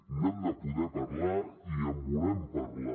n’hem de poder parlar i en volem parlar